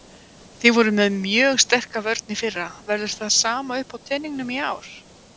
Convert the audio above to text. Þið voruð með mjög sterka vörn í fyrra, verður það sama uppá teningnum í ár?